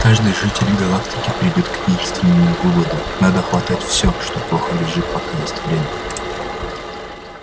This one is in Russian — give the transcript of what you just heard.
каждый житель галактики придёт к единственному выводу надо хватать все что плохо лежит пока есть время